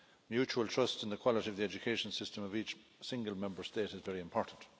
Mutual trust in the quality of the education system of each single Member State is very important.